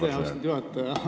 Aitäh, austatud juhataja!